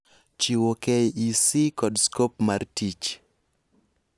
Chiwo KEC kod scope mar tich